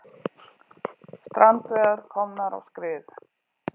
Strandveiðar komnar á skrið